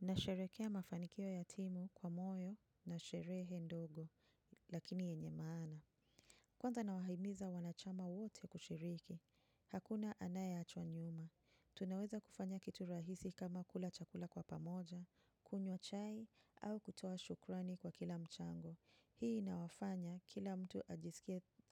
Nasherehekea mafanikio ya timu kwa moyo na sherehe ndogo lakini yenye maana kwanza nawahimiza wanachama wote kushiriki. Hakuna anaye achwa nyuma. Tunaweza kufanya kitu rahisi kama kula chakula kwa pamoja, kunywa chai, au kutoa shukrani kwa kila mchango. Hii inawafanya kila mtu